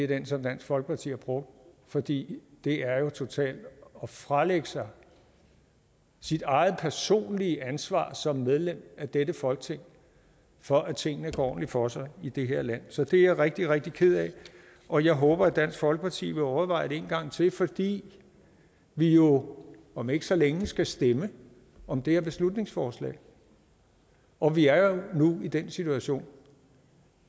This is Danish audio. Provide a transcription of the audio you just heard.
den som dansk folkeparti har brugt fordi det er totalt at fralægge sig sit eget personlige ansvar som medlem af dette folketing for at tingene går ordentligt for sig i det her land så det er jeg rigtig rigtig ked af og jeg håber at dansk folkeparti vil overveje det en gang til fordi vi jo om ikke så længe skal stemme om det her beslutningsforslag og vi er jo nu i den situation